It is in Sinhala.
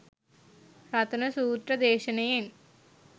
රතන සූත්‍ර දේශනයෙන්